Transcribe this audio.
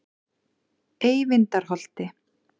Eyvindarholti